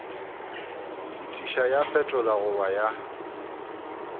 fetiša ya fetola goba ya